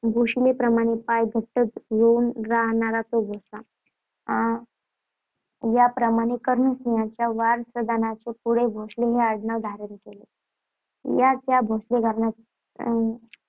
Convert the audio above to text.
भूशिलेप्रमाणे पाय घट्ट रोवून राहणारा तो भोसला. अं याप्रमाणे कर्णसिंहाच्या वारसदारांनी पुढे भोसले हे आडनाव धारण केले. याच भोसले घराण्यात